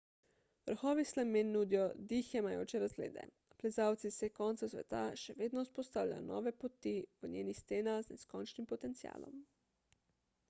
vrhovi slemen nudijo dih jemajoče razglede plezalci iz vseh koncev sveta še vedno vzpostavljajo nove poti v njenih stenah z neskončnim potencialom